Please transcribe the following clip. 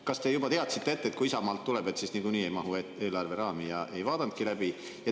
Kas te juba teadsite ette, et kui Isamaalt tuleb, siis niikuinii ei mahu eelarve raami, ja te ei vaadanudki läbi?